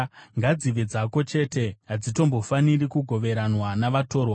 Ngadzive dzako woga, hadzitombofaniri kugoveranwa navatorwa.